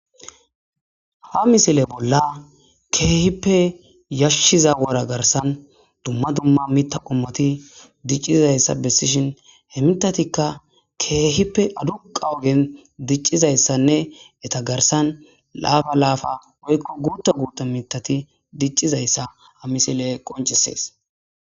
ha misile bolla keehippe yashshiza wora garsan dumma dumma mita qommati diccizayssa bessishin he mitatikka keehippe aduqa ogen diccizayssanne eta garsan laafa laafa woykko guutta guuta mitati diccizayssa ha misiley qoncisees